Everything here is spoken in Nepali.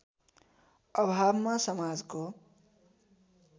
अभावमा समाजको